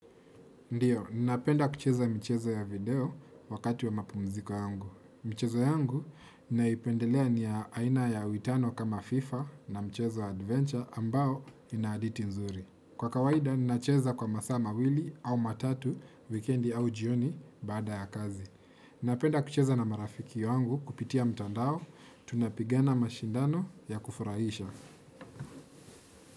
Ndiyo, ninapenda kucheza mchezo ya video wakati wa mapumziko yangu. Michezo yangu, ninaipendelea ni ya aina ya witano kama FIFA na mchezo adventure ambao ina haditi nzuri. Kwa kawaida, ninacheza kwa masaa mawili au matatu, wikendi au jioni baada ya kazi. Napenda kucheza na marafiki yangu kupitia mtandao, tunapigana mashindano ya kufurahisha.